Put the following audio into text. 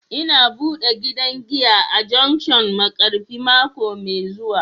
Ina bude gidan giya a junction Markafi mako mai zuwa